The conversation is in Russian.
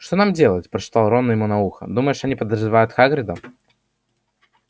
что нам делать прошептал рон ему на ухо думаешь они подозревают хагрида